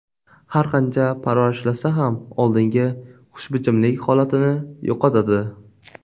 Har qancha parvarishlasa ham oldingi xushbichimlik holatini yo‘qotadi.